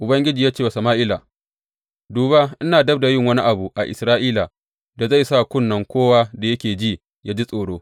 Ubangiji ya ce wa Sama’ila, Duba ina dab da yin wani abu a Isra’ila da zai sa kunne kowa da yake ji, yă ji tsoro.